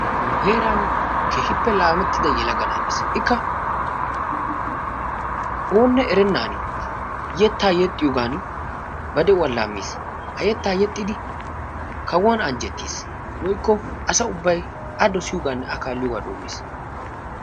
Nu heeran keehippe laamettida yelaga na'ay dees. Ikka oonne erennan yettaa yexxiyogan ba de'uwa laammiis. Ha yettaa yexxidi kawuwan anjjettiis woykko asa ubbay a dosiyogaanne a kaalliyoogaa doommiis.